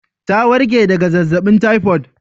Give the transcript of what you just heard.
Ta warke daga zazzabin typhoid